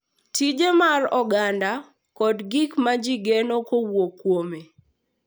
Tije mag oganda, kod gik ma ji geno kowuok kuome